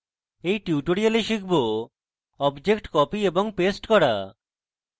in tutorial আমরা শিখব objects copy এবং paste করা